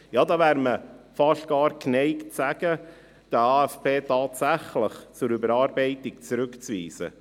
Ja, da wäre man fast geneigt zu sagen, der AFP sei tatsächlich zur Überarbeitung zurückzuweisen.